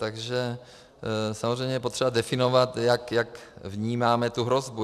Takže samozřejmě je potřeba definovat, jak vnímáme tu hrozbu.